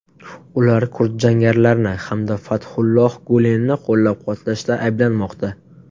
Ular kurd jangarilarini hamda Fathulloh Gulenni qo‘llab-quvvatlashda ayblanmoqda.